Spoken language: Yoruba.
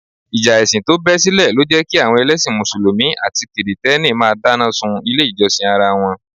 Ìjà ẹ̀sìn tó bẹ́ sílẹ̀ lọ jẹ́ kí àwọn ẹlẹ́sìn Mùsùlùmí àti kìrìtẹ́nì máa dáná sun ilé ìjọsìn ara wọn